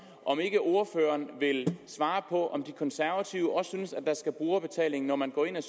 om ikke ordføreren vil svare på om de konservative også synes at der skal være brugerbetaling når man går ind ad